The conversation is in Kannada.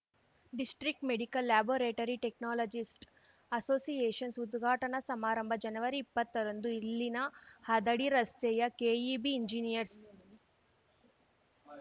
district medical laboratory technologist associations ಉದ್ಘಾಟನಾ ಸಮಾರಂಭ ಜನವರಿಇಪ್ಪತ್ತರಂದು ಇಲ್ಲಿನ ಹದಡಿ ರಸ್ತೆಯ ಕೆಇಬಿ ಇಂಜಿನಿಯರ್ಸ್